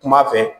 Kuma fɛ